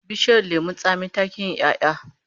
Bishiyar lemon tsami ta ki yin 'ya'ya